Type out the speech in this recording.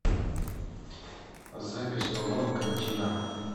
запись палома кантина